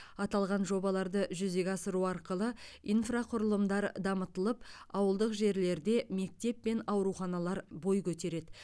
аталған жобаларды жүзеге асыру арқылы инфрақұрылымдар дамытылып ауылдық жерлерде мектеп пен ауруханалар бой көтереді